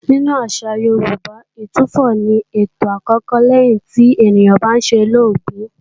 Nínú àṣà Yorùbá, Ìtúfọ̀ ni ètò àkọ́kọ́ lẹ́yìn tí ènìyàn bá solóògbé